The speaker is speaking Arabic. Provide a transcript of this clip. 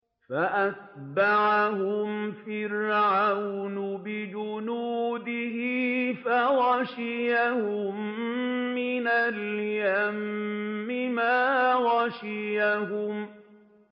فَأَتْبَعَهُمْ فِرْعَوْنُ بِجُنُودِهِ فَغَشِيَهُم مِّنَ الْيَمِّ مَا غَشِيَهُمْ